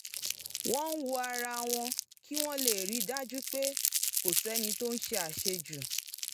wọ́n ń wo ara wọn kí wọ́n lè rí i dájú pé kò sẹ́ni tó ń ṣe àṣejù